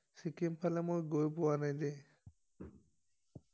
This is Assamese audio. চিকিম ফালে মই গৈ পোৱা বাই দেই